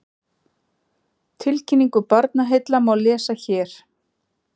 Tilkynningu Barnaheilla má lesa hér